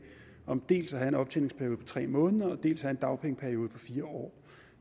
om dels at have en optjeningsperiode på tre måneder dels at have en dagpengeperiode på fire år